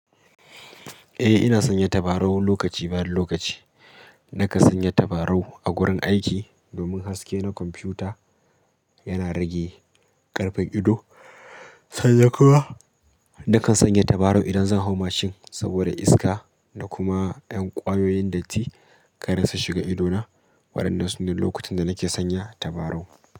Eh ina sanya tabarau lokaci bari lokaci. Nakan sanya tabarau a gurin aiki domin haske na kwamfuta yana rage karfen ido. Sannan kuma, nakan sanya tabarau idan zan hau mashin saboda iska da kuma 'yan ƙwayoyin datti kar su shiga idona waɗannan sune lokutan da nake sanya tabarau.